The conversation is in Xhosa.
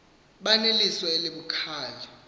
abaneliso elibu khali